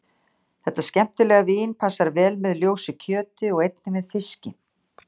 Þetta skemmtilega vín passar vel með ljósu kjöti og einnig með fiski.